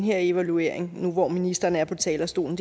her evaluering nu hvor ministeren er på talerstolen